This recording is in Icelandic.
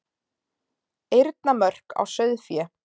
Eyrnamörk á sauðfé.